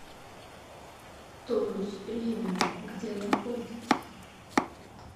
тонус премиум где находится